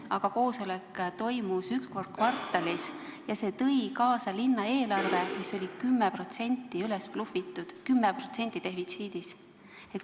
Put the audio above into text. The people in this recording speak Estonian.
See tõi kaasa linna eelarve, mis oli 10% üles blufitud, 10% defitsiidis.